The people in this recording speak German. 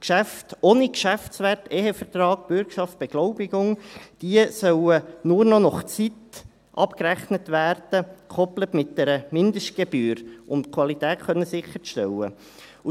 Geschäfte ohne Geschäftswert – wie Ehevertrag, Bürgschaft, Beglaubigung – sollen nur noch nach Zeit abgerechnet werden, gekoppelt mit einer Mindestgebühr, um die Qualität sicherstellen zu können.